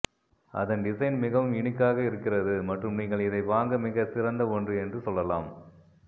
அதன் டிசைன் மிகவும் யுனிக்மகாக இருக்கிறது மற்றும் நீங்கள் இதை வாங்க மிக சிறந்த ஒன்று என்று சொல்லலாம்